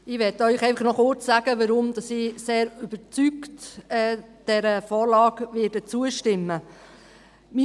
Ich möchte Ihnen noch kurz sagen, warum ich dieser Vorlage sehr überzeugt zustimmen werde.